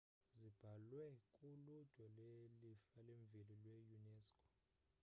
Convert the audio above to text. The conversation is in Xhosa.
zibhaliwe ku-ludwe le-lifa lemveli lwe-unesco